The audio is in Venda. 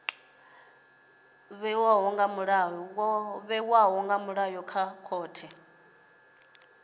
vhewaho nga milayo ya khothe